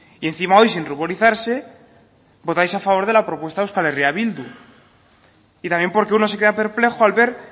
y encima hoy sin ruborizarse votáis a favor de la propuesta de euskal herria bildu y también porque uno se queda perplejo al ver